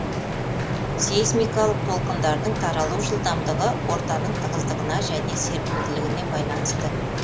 сейсмикалық толқындардың таралу жылдамдығы ортаның тығыздығына және серпімділігіне байланысты